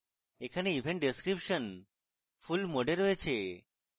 এখানে event description full mode এ রয়েছে